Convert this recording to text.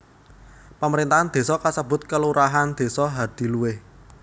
Pamerintahan désa kasebut kelurahan Desa Hadiluwih